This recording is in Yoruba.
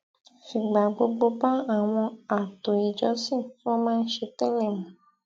fìgbà gbogbo bá àwọn ààtò ìjọsìn tí wón máa ń ṣe télè mu